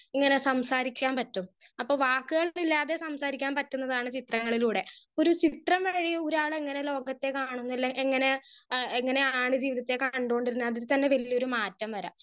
speaker 1 ഇങ്ങനെ സംസാരിക്കാൻ പറ്റും അപ്പൊ വാക്കുകൾ ഇല്ലാതെ സംസാരിക്കാൻ പറ്റുന്നതാണ് ചിത്രങ്ങളിലൂടെ ഒരു ചിത്രം വരെ ഒരാൾ അങ്ങനെ ലോകത്തെ കാണുന്നില്ലേ എങ്ങനെ എഹ് എങ്ങനെയാണ് ജീവിതത്തെ കണ്ടോണ്ടിര്ന്നേ അതിൽ തന്നെ വല്യൊരു മാറ്റം വരാം